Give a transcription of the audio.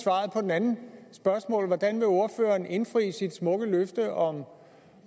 andet spørgsmål hvordan vil ordføreren indfri sit smukke løfte om